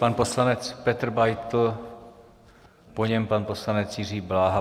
Pan poslanec Petr Beitl, po něm pan poslanec Jiří Bláha.